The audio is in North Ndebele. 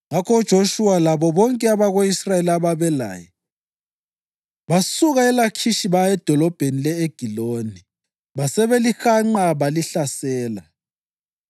Ngakho uJoshuwa labo bonke abako-Israyeli ababelaye basuka eLakhishi baya edolobheni le-Egiloni; basebelihanqa balihlasela.